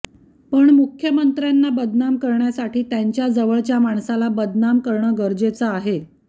पण मुख्यमंत्र्यांना बदनाम करण्यासाठी त्यांच्या जवळच्या माणसाला बदनाम करणं गरजेचं आहे